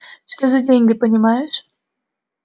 что за деньги понимаешь